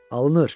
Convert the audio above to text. Alınır!